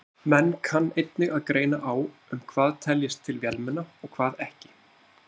Menn kann einnig að greina á um það hvað teljist til vélmenna og hvað ekki.